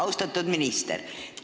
Austatud minister!